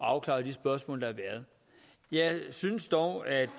afklaret de spørgsmål der er jeg synes dog at